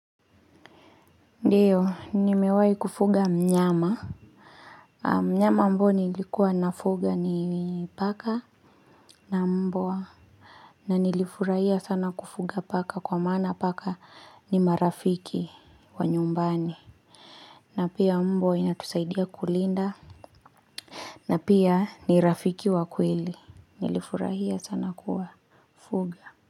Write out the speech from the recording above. Ndiyo nimewahi kufuga mnyama mnyama ambao nilikuwa nafuga ni paka na mbwa na nilifurahia sana kufuga paka kwa maana paka ni marafiki wa nyumbani na pia mbwa inatusaidia kulinda na pia ni rafiki wa kweli nilifurahia sana kuwafuga.